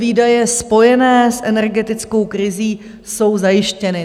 Výdaje spojené s energetickou krizí jsou zajištěny.